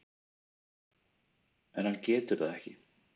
En hann getur það ekki.